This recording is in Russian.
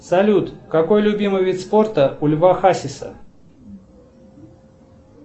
салют какой любимый вид спорта у льва хасиса